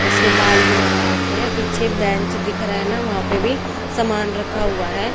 इसके बाल भी लगा रखे हैं पीछे बेंच दिख रहा है ना वहां पे भी समान रखा हुआ है।